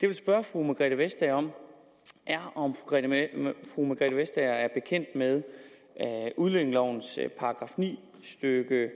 vil spørge fru margrethe vestager om er om fru margrethe vestager er bekendt med udlændingelovens § ni c stykke